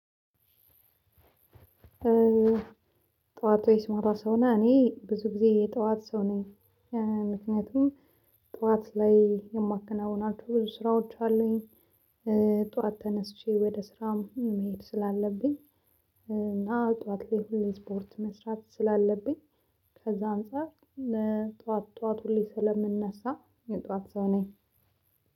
ጠዋት ወይስ ማታ ሰው ነህ? እኔ ብዙ ጊዜ የጠዋት ሰው ነኝ። ምክንያቱም ጠዋት ላይ የማከናውናቸው ብዙ ስራዎች አሉኝ። ጠዋት ተነስቼ ወደ ስራም መሄድ ስላለብኝ። እና ጧት ላይ ሁሌ ስፖርት መስራት ስላለብኝ። ከዛ አንፃር ለጠዋት ጠዋት ሁሌ ስለምነሳ የጠዋት ሰው ነኝ።